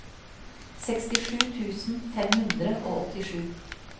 sekstisju tusen fem hundre og åttisju